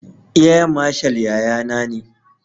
Air mashal yayana ne.